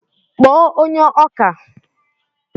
kpọọ onye ọkà!